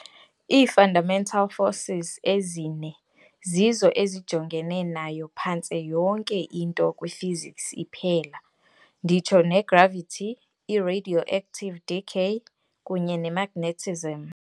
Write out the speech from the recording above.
Ii-fundamental forces ezine zizo ezijongene nayo phantse yonke into kwiphysics iphela, nditsho negravity, i-radioactive decay, kunye nemagnetism.